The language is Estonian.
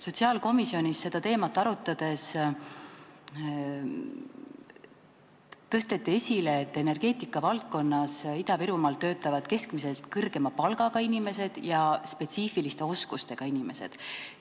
Sotsiaalkomisjonis seda teemat arutades tõsteti esile, et energeetikavaldkonnas töötavad Ida-Virumaal keskmisest kõrgema palgaga ja spetsiifiliste oskustega inimesed.